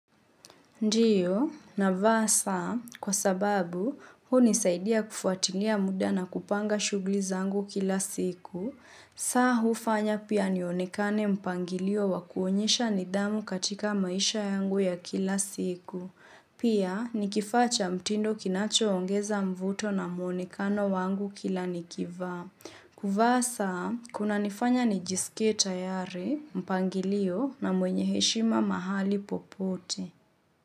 Ndiyo, na vasa, kwa sababu, hunisaidia kufuatilia muda na kupanga shughuli zangu kila siku. Saa hufanya pia nionekane mpangilio wa kuonyesha nidhamu katika maisha yangu ya kila siku. Pia, ni kifaa cha mtindo kinachoongeza mvuto na muonekano wangu kila nikiivaa. Kuva saa, kunanifanya nijisikie tayari mpangilio na mwenye heshima mahali popote.